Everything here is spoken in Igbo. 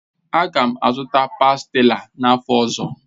Aga m azụta pástila n'afọ ọzọ